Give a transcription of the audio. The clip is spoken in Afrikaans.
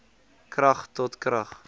krag tot krag